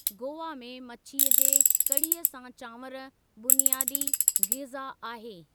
गोवा में मछीअ जे कड़ीअ सां चांवर बुनियादी ग़िज़ा आहे।